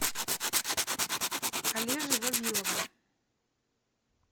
олежи вавилова